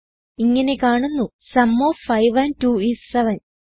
ഇങ്ങനെ കാണുന്നു zoom of 5 and 2 is 700